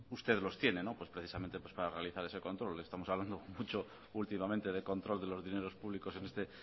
ustedes los tienen precisamente para realizar ese control estamos hablando mucho últimamente de control de los dineros públicos en este